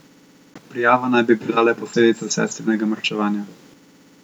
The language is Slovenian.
Prijava naj bi bila le posledica sestrinega maščevanja.